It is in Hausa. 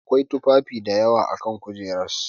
Akwai tufafi dayawa a kan kujerar.